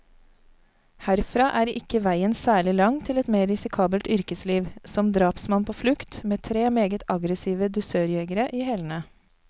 Herfra er ikke veien særlig lang til et mer risikabelt yrkesliv, som drapsmann på flukt, med tre meget aggressive dusørjegere i hælene.